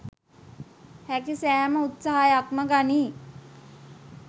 හැකි සෑම උත්සාහයක්ම ගනී